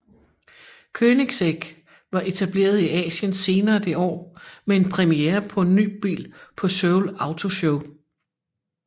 Koenigsegg var etableret i Asien senere det år med en premiere på en ny bil på Seoul Auto Show